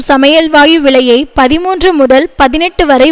சமையல் வாயு விலையை பதிமூன்று முதல்பதினெட்டு வரை